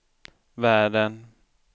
världen